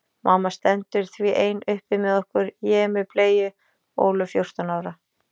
Mamma stendur því ein uppi með okkur, ég með bleyju, Ólöf fjórtán ára.